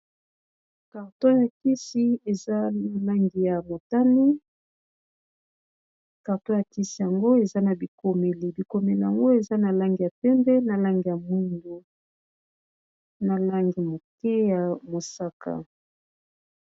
Carton ya kisi eza na langi ya motane. Carton ya kisi yango eza na bikomeli, bikomeli yango eza na langi ya pembe, na langi ya mwindu, na langi moke ya mosaka.